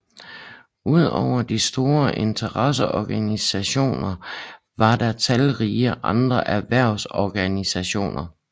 Udover de store interesseorganisationer var der talrige andre erhvervsorganisationer